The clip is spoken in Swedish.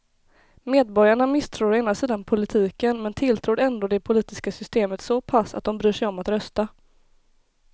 Medborgarna misstror å ena sidan politiken men tilltror ändå det politiska systemet så pass att de bryr sig om att rösta.